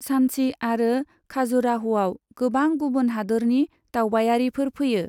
सान्ची आरो खाजुराह'आव गोबां गुबुन हादोरनि दावबायारिफोर फैयो।